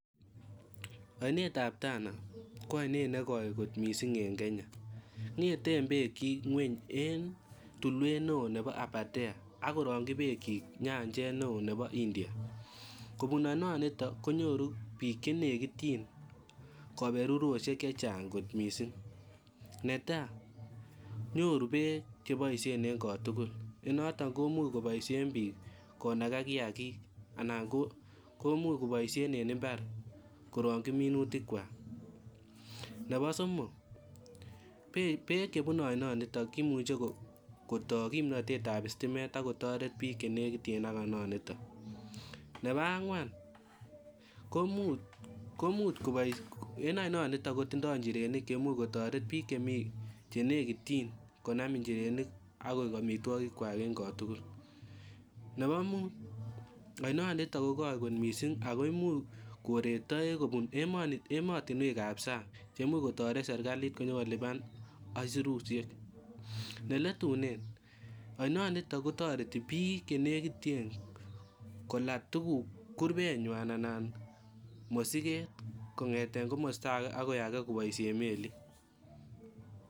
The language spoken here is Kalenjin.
Ainetab Tana ko ainet nekoi mising en Kenya. Ngeten beekyik ngweny en tiluet neo nebo Aberdare ak korongyi beekyik nyanjet neo nebo India. Kubun ainonito konyoru biik che negityin kaberurusiek che chang kot mising. Neta konyoru beek cheboisien en kotugul nenoto komuch koboisien biik konaga kiagik anan komuch koboisien en imbar korongyi minutikwak. Nebo somok, beek chebune ainonitok kimuche kotoi kimnatetab istimet ak kotoret biik chenegiten ak ainonito. Nebo angwan komuch, en ainonito kotindo injirenik chemuch kotaret biik che nekityin konam injirenik ak koik amitwogikwak en kotugul. Nebu mut, ainonito ko koi kot mising ago imuch koree toek kubun ematinwekab sang chemuch kotaret sergalit konyokoluban aisirusiek. Neletunen, ainonito kitareti biik che negiten kola tuguk, kurubenywan anan mosiget kongete komosta age agoi age koboisien melit.